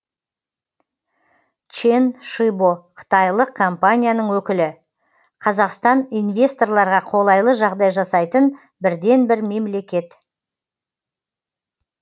чен шибо қытайлық компанияның өкілі қазақстан инвесторларға қолайлы жағдай жасайтын бірден бір мемлекет